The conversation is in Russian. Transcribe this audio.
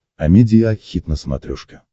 амедиа хит на смотрешке